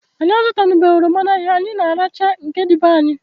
Anyị azutanubeghi oroma n'ahia, anyị na arachaa nke dị be anyị